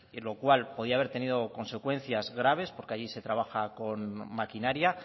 lo cual podía haber tenido consecuencias graves porque allí se trabaja con maquinaria